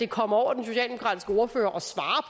kommer over den socialdemokratiske ordfører